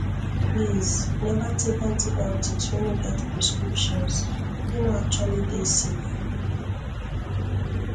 please never take antibiotics wey no get prescriptions e no actually dey safe